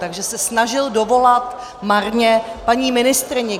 Takže se snažil dovolat marně paní ministryni.